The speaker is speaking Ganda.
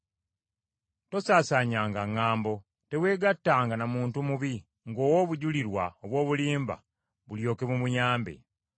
“Tosaasaanyanga ŋŋambo. Teweegattanga na muntu mubi, ng’owa obujulirwa obw’obulimba bulyoke bumuyambe.